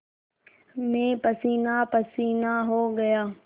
मैं पसीनापसीना हो गया